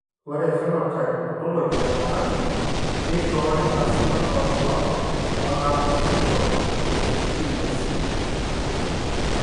Ore ephenotype ontology etung'ani neishooyo enasiana oorbulabul onaapuku esindirom eFrias.